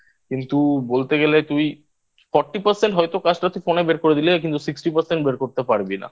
কিন্তু বলতে গেলে তুই Percent হয়তো কাজটা তুই Phone এ বের করে দিলে কিন্তু Sixty Percent বের করতে পারবি না।